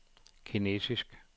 kinesisk